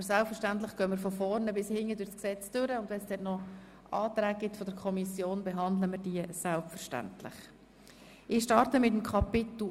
Aber selbstverständlich werden wir von vorne bis hinten durch das Gesetz hindurchgehen und wenn es noch Anträge von der Kommission gibt, werden wir diese selbstverständlich behandeln.